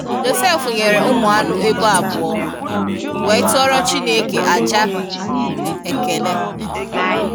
Jọsef nyere ụmụ anu ebo abụọ, wee tụọrọ Chineke aja ekele.